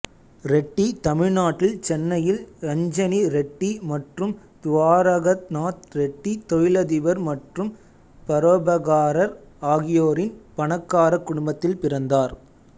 ரெட்டி தமிழ்நாட்டில் சென்னையில் ரஞ்சனி ரெட்டி மற்றும் துவாரகநாத் ரெட்டி தொழிலதிபர் மற்றும் பரோபகாரர் ஆகியோரின் பணக்கார குடும்பத்தில் பிறந்தார்